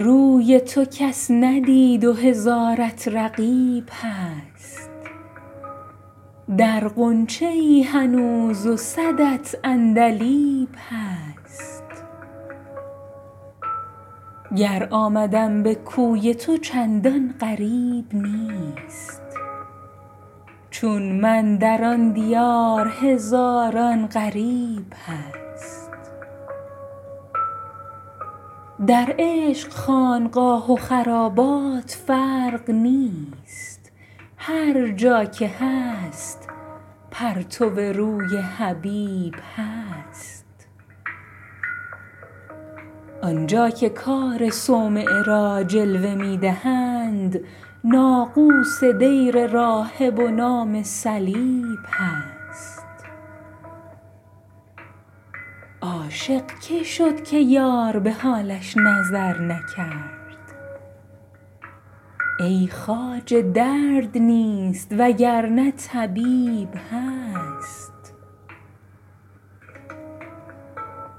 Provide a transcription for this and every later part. روی تو کس ندید و هزارت رقیب هست در غنچه ای هنوز و صدت عندلیب هست گر آمدم به کوی تو چندان غریب نیست چون من در آن دیار هزاران غریب هست در عشق خانقاه و خرابات فرق نیست هر جا که هست پرتو روی حبیب هست آن جا که کار صومعه را جلوه می دهند ناقوس دیر راهب و نام صلیب هست عاشق که شد که یار به حالش نظر نکرد ای خواجه درد نیست وگرنه طبیب هست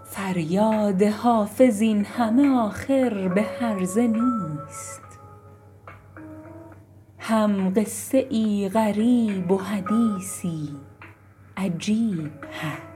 فریاد حافظ این همه آخر به هرزه نیست هم قصه ای غریب و حدیثی عجیب هست